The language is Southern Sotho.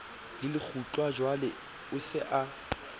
le lekgutlajwale o se a